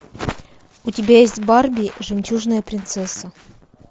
у тебя есть барби жемчужная принцесса